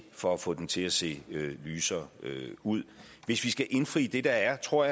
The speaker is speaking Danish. for at få den til at se lysere ud hvis vi skal indfri det der er tror